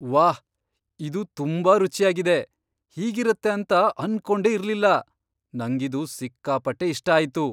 ವಾಹ್! ಇದು ತುಂಬಾ ರುಚ್ಯಾಗಿದೆ, ಹೀಗಿರತ್ತೆ ಅಂತ ಅನ್ಕೊಂಡೇ ಇರ್ಲಿಲ್ಲ. ನಂಗಿದು ಸಿಕ್ಕಾಪಟ್ಟೆ ಇಷ್ಟ ಆಯ್ತು.